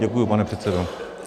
Děkuji, pane předsedo.